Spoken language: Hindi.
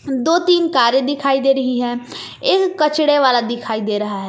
दो तीन कारें दिखाई दे रही हैं एक कचड़े वाला दिखाई दे रहा है।